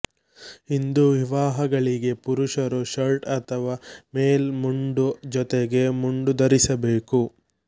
ಹಿಂದೂ ವಿವಾಹಗಳಿಗೆ ಪುರುಷರು ಶರ್ಟ್ ಅಥವಾ ಮೇಲ್ ಮುಂಡು ಜೊತೆಗೆ ಮುಂಡು ಧರಿಸಬೇಕು